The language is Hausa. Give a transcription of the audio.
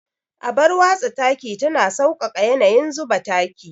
Abar watsa taki tana sauƙaƙa yanayin zuba taki.